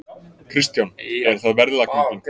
Kristján: Er það verðlagningin?